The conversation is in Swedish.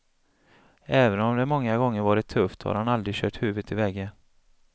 Även om det många gånger varit tufft har han aldrig kört huvudet i väggen.